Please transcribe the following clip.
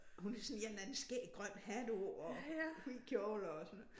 Hun havde sådan en eller anden skæg grøn hat på og hvid kjole og sådan